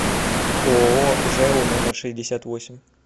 ооо жэу номер шестьдесят восемь